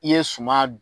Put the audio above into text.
I ye suma dun